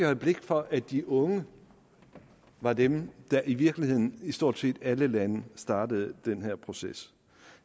have blik for at de unge var dem der i virkeligheden i stort set alle lande startede den her proces